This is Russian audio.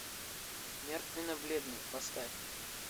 мертвенно бледный поставь